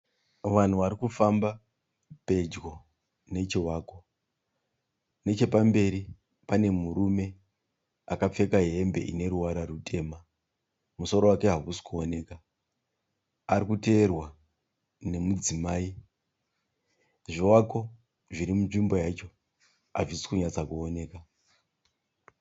Vanhu varikufamba pedyo nechivako. Nechepamberi pane murume akapfeka hembe ineruvara rutema. Musoro wake hausi kuoneka. Arikuteerwa nemudzimai. Zvivako zviri munzvimbo yacho hazvisi kunyatsa kuoneka.